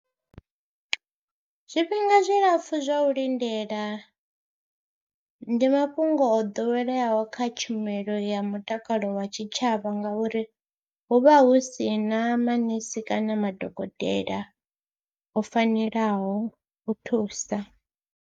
Zwifhinga zwilapfhu zwa u lindela ndi mafhungo o ḓoweleaho kha tshumelo ya mutakalo wa tshitshavha ngauri hu vha hu si na manese kana madokotela o fanelaho u thusa.